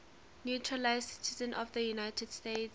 naturalized citizens of the united states